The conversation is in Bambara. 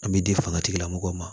An bɛ di fanga tigilamɔgɔw ma